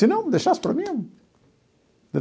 Se não, deixasse por mim eu, entendeu?